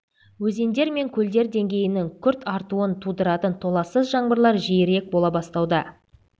өзендер мен көлдер деңгейінің күрт артуын тудыратын толассыз жаңбырлар жиірек бола бастауда